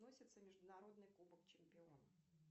относится международный кубок чемпионов